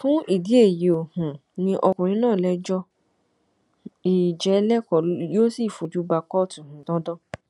fún ìdí èyí ó um ní ọkùnrin náà lẹjọ í jẹ lẹkọọ yóò sì fojú ba kóòtù um dandan